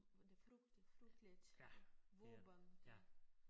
Var det frygteligt frygteligt våben det